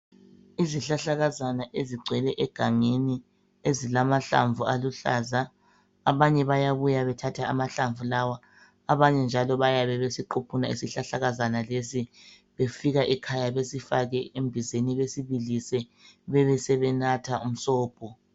Izihlahlakazana ezigcwele egangeni ezilamahlamvu aluhlaza abanye bayabuya bethathe amahlamvu lawa abanye njalo bayabe besiquphune isihlahlakaza lesi befike ekhaya besifake embizeni besibilise bebesenatha umsobho.